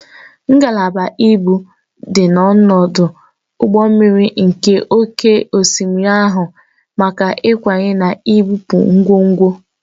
Ngalaba ibu dị n'ọdụ ụgbọ mmiri nke oké osimiri na-ahụ maka ịkwanye na ibupu ngwongwo.